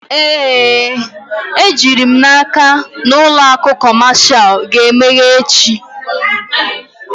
Ee, ejiri m n'aka na ụlọ akụ kọmashal ga-emeghe echi.